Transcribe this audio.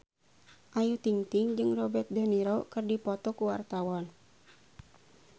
Ayu Ting-ting jeung Robert de Niro keur dipoto ku wartawan